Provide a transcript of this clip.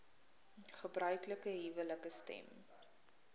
gebruiklike huwelike stem